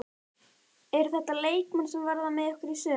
Eru þetta leikmenn sem verða með ykkur í sumar?